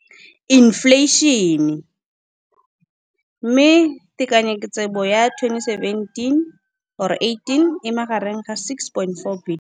Infleišene, mme tekanyetsokabo ya 2017, 18, e magareng ga R6.4 bilione.